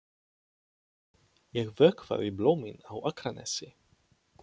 Ég vökvaði blómin á Akranesi.